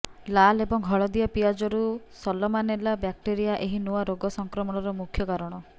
ଲାଲ ଏବଂ ହଳଦିଆ ପିଆଜରୁ ସଲମାନେଲା ବ୍ୟାକ୍ଟେରିଆ ଏହି ନୂଆ ରୋଗ ସଂକ୍ରମଣର ମୁଖ୍ୟ କାରଣ